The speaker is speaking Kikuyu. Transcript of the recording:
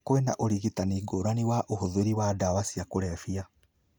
Kwĩna ũrigitani ngũrani wa ũhũthĩri wa ndawa cia kũrebia.